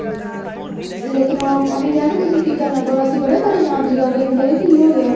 ਲੇਕਿਨ ਉਹ ਉਹਨੇ ਕਿਹਾ ਤੁਸੀਂ ਫ਼ਿਕਰ ਨਾ ਕਰੋ ਅਸੀਂ ਬੜੇ ਪਰੇਸ਼ਾਨ ਸੀਗੇ ਆਖੇ ਇਹਨੂੰ ਪਤਾ ਨਹੀਂ ਕੀ ਹੋ ਗਿਆ